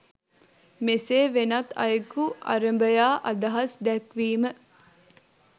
මෙසේ වෙනත් අයකු අරභයා අදහස් දැක්වීම